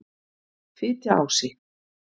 Fitjaási